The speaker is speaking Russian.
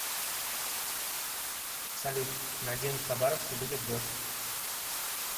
салют на день в хабаровске будет дождь